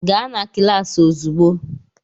Gaa na kịlasị ozigbo!